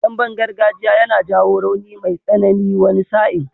Damben gargajiya yana jawo rauni mai tsanani wani sa'in.